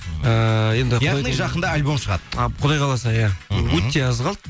ыыы енді яғни жақында альбом шығады құдай қаласа иә мхм өте аз қалды